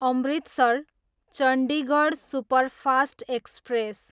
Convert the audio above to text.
Amritsar, Chandigarh superfast express